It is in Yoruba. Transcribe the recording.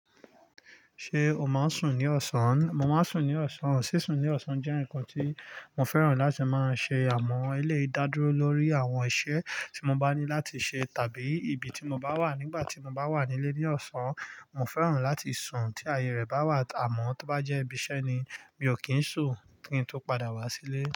Ṣé o máa ń sùn ní ọ̀sán? Mo máa ń sùn ní ọ̀sán. Sísun ní ọ̀sán jẹ́ ǹkan tí mo fẹ́ràn láti máa ṣe àmọ́ eléyìí dá dúró lórí àwọn iṣẹ́ tí mo bá ní láti ṣe tàbí ibi tí mo bá wà. Nígbà tí mo bá wà nílé ní ọ̀sán, mo fẹ́ràn láti sùn tí ààyè rẹ̀ bá wà. Àmọ́ tó bá jẹ́ ibi iṣẹ́ ni, mi ò kí ń sùn kí n tó padà wá sílé.